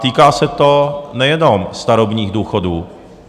Týká se to nejenom starobních důchodů.